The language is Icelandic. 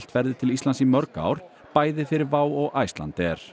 ferðir til Íslands í mörg ár bæði fyrir WOW og Icelandair